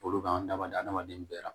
Balo kan ka adamaden bɛɛ la